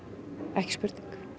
ekki spurning